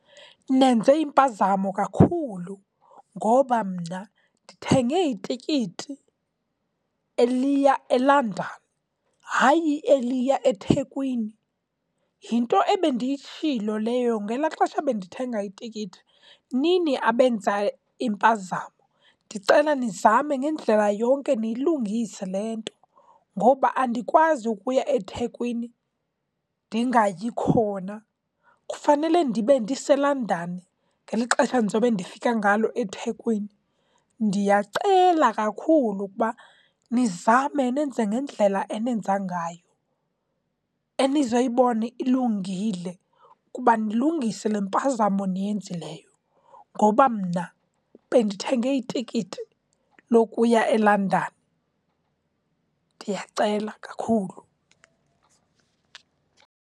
Nenze impazamo kakhulu ngoba mna ndithenge itikiti eliya eLondon, hayi eliya eThekwini. Yinto ebendiyitshilo leyo ngelaa xesha bendithenga itikiti. Nini abenza impazamo. Ndicela nizame ngendlela yonke niyilungise le nto, ngoba andikwazi ukuya eThekwini ndingayi khona. Kufanele ndibe ndiseLondon ngeli xesha ndizobe ndifika ngalo eThekwini. Ndiyacela kakhulu ukuba nizame nenze ngendlela enenza ngayo enizoyibona ilungile, ukuba nilungise le mpazamo niyenzileyo, ngoba mna bendithenge itikiti lokuya eLondon. Ndiyacela kakhulu.